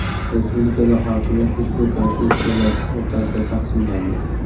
Respublikada hokimiyat ushbu konfessiyalar o‘rtasida taqsimlandi.